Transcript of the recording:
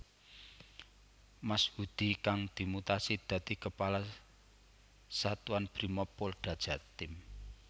Mashudi kang dimutasi dadi Kepala Satuan Brimob Polda Jatim